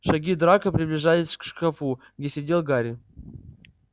шаги драко приближались к шкафу где сидел гарри